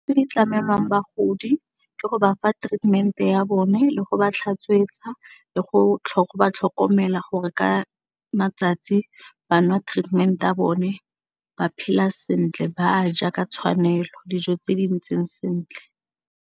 Tse di tlamelwang bagodi ke go ba fa treatment-e ya bone le go ba tlhatswetsa le go ba tlhokomela gore ka matsatsi ba nwa treatment ya bone ba phela sentle ba a ja ka tshwanelo dijo tse di ntseng sentle.